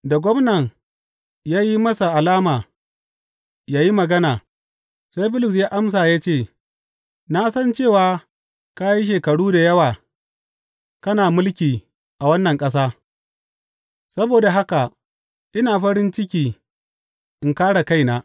Da gwamna ya yi masa alama yă yi magana, sai Bulus ya amsa ya ce, Na san cewa ka yi shekaru da yawa kana mulki a wannan ƙasa; saboda haka ina farin ciki in kāre kaina.